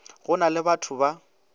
go na le bato ba